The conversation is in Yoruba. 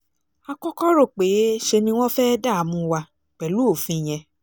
a kọ́kọ́ rò pé ṣe ni wọ́n fẹ́ẹ́ dààmú wa pẹ̀lú òfin yẹn